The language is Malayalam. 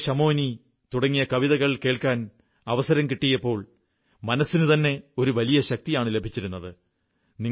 പോരോശമോനീ തുടങ്ങിയ കവിതകൾ കേൾക്കാൻ അവസരം കിട്ടിയിരുന്നപ്പോൾ മനസ്സിനുതന്നെ ഒരു വലിയ ശക്തിയാണു ലഭിച്ചിരുന്നത്